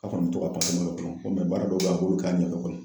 A kɔni bɛ to ka dun ko baara dɔw b'a bolo k'a ɲɛ kɔrɔ.